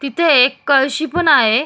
इथे एक कळशी पण आहे.